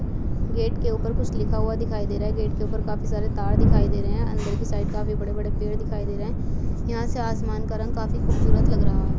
Gate के ऊपर कुछ लिखा हुआ दिखाई दे रहा है गेट के ऊपर काफी सारे तार दिखाई दे रहे है अंदर की साइड काफी बड़े-बड़े पेड़ दिखाई दे रहे है यहाँ से आसमान का रंग काफी खूबसूरत लग रहा है।